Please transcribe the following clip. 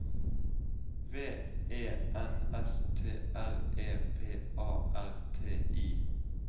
V E N S T R E P A R T I